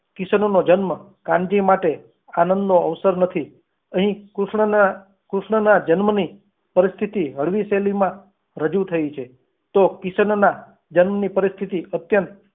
કિશન નો જન્મ કાનજી માટે આનંદનો અવસર નથી અહીં કૃષ્ણના જન્મની પરિસ્થિતિ હળવી શૈલીમાં રજૂ થઈ છે તો કિશનના જન્મની પરિસ્થિતિ અત્યંત